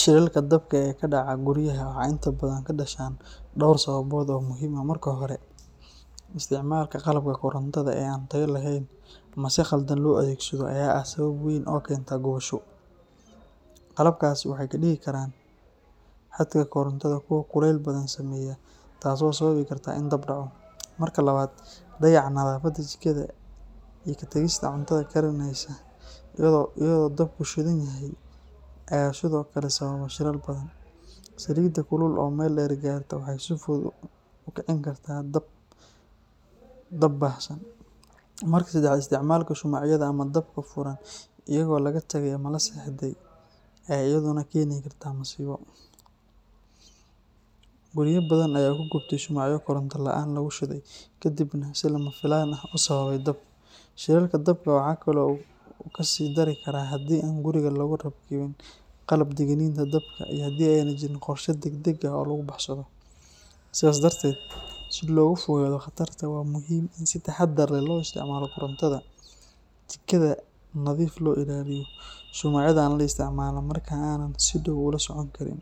Shilalka dabka ee ka dhaca guryaha waxay inta badan ka dhashaan dhowr sababood oo muhiim ah. Marka hore, isticmaalka qalabka korontada ee aan tayo lahayn ama si khaldan loo adeegsado ayaa ah sabab weyn oo keenta gubasho. Qalabkaasi waxay ka dhigi karaan xadhkaha korontada kuwo kulayl badan sameeya taasoo sababi karta in dab kaco. Marka labaad, dayaca nadaafadda jikada iyo ka tagista cuntada karinaysa iyadoo dabku shidan yahay ayaa sidoo kale sababa shilal badan. Saliidda kulul oo meel dheer gaarta waxay si fudud u kicin kartaa dab baahsan. Marka saddexaad, isticmaalka shumacyada ama dabka furan iyadoo laga tagay ama la seexday ayaa iyaduna keeni karta masiibo. Gurya badan ayaa ku gubtay shumacyo koronto la’aan lagu shiday kadibna si lama filaan ah u sababay dab. Shilalka dabka waxa kale oo uu ka sii dari karaa haddii aan guriga lagu rakibin qalabka digniinta dabka iyo haddii aanay jirin qorshe degdeg ah oo lagu baxsado. Sidaas darteed, si looga fogaado khatartaas, waa muhiim in si taxadar leh loo isticmaalo korontada, jikada nadiif loo ilaaliyo, shumacyadana aan la isticmaalin marka aanan si dhow ula socon karin.